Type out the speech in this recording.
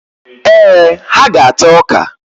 Ee, ha ga-ata ọka.